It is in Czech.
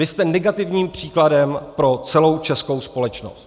Vy jste negativním příkladem pro celou českou společnost.